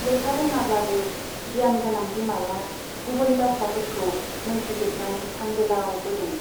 लेखा रोंआब्लाबो गियान गोनां बिमाया गुबै बाथ्राफोरखौ मोनथिजोबनानै हां गोलाव बोदों।